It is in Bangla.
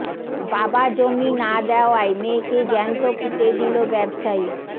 বাবা জমি না দেওয়ায় মেয়েকে জ্যান্ত পুঁতে দিল ব্যবসায়ী